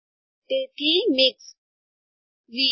તેથી મિક્સ્ડ